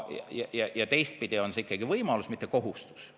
Ja teistpidi, see on ikkagi võimalus, mitte kohustus.